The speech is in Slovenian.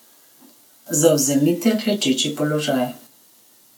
Zavzemite klečeči položaj.